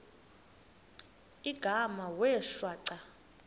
igama wee shwaca